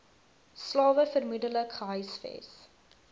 slawe vermoedelik gehuisves